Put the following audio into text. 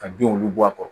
Ka binw olu bɔ a kɔrɔ